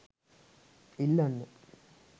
ඉල්ලන්න